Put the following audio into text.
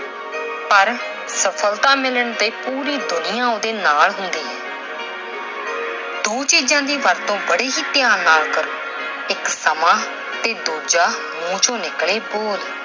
ਪਰ ਸਫਲਤਾ ਮਿਲਣ ਤੇ ਪੂਰੀ ਦੁਨੀਆ ਉਹਦੇ ਨਾਲ ਹੁੰਦੀ ਹੈ। ਦੋ ਚੀਜਾਂ ਦੀ ਵਰਤੋਂ ਬੜੇ ਹੀ ਧਿਆਨ ਨਾਲ ਕਰੋ- ਇਕ ਸਮਾਂ ਤੇ ਦੂਜਾ ਮੂੰਹ ਚੋਂ ਨਿਕਲੇ ਬੋਲ।